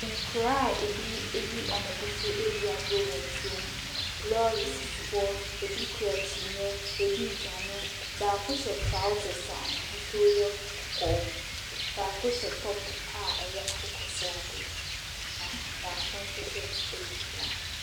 Nkoraa a ebi ayi ɔmo bo so eedi agrɔ wɔ nsuom, lɔɔre sisi hɔ, ebi kura kyinyɛ, ebii dwane. Baako hyɛ traosɛs a n'ahosuo yɛ kɔkɔɔ, baako hyɛ tɔp a ɛyɛ akokɔ sradeɛ, na baako nso hyɛɛt ɛyɛ fitaa.